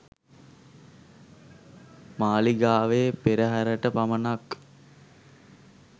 මාලිගාවේ පෙරහරට පමණක්